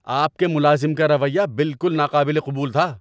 آپ کے ملازم کا رویہ بالکل ناقابل قبول تھا